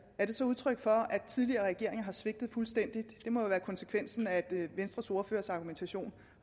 er det så udtryk for at tidligere regeringer har svigtet fuldstændig det må være konsekvensen af venstres ordførers argumentation